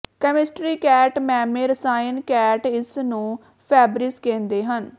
chemistry ਕੈਟ ਮੈਮੇ ਰਸਾਇਣ ਕੈਟ ਇਸ ਨੂੰ ਫੈਬਰਿਜ਼ ਕਹਿੰਦੇ ਹਨ